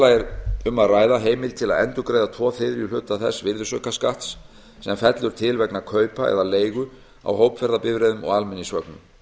lagi er um að ræða heimild til að endurgreiða tveir þriðju hluta þess virðisaukaskatts sem fellur til vegna kaupa eða leigu á hópferðabifreiðum og almenningsvögnum